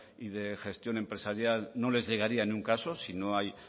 y de gestión empresarial no les llegaría en ningún caso si no hay